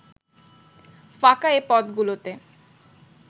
ফাঁকা এ পদগুলোতে